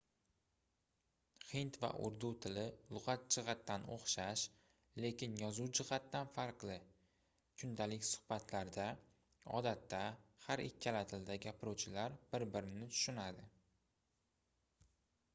hind va urdu tili lugʻat jihatidan oʻxshash lekin yozuv jihatidan farqli kundalik suhbatlarda odatda har ikkala tilda gapiruvchilar bir-birini tushunadi